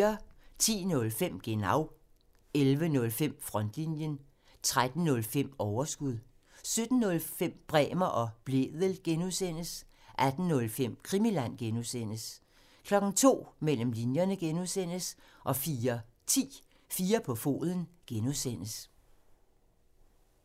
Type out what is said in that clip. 10:05: Genau (tir) 11:05: Frontlinjen (tir) 13:05: Overskud (tir) 17:05: Bremer og Blædel (G) (tir) 18:05: Krimiland (G) (tir) 02:00: Mellem linjerne (G) (tir) 04:10: 4 på foden (G) (tir)